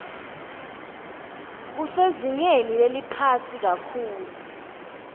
kusezingeni leliphansi kakhulu